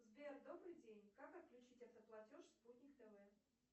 сбер добрый день как отключить автоплатеж спутник тв